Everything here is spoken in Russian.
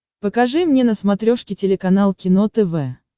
покажи мне на смотрешке телеканал кино тв